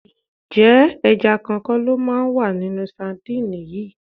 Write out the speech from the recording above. Ǹjẹ́ ẹja kan kọ́ lo máa wà nínú sadíìnì yìí?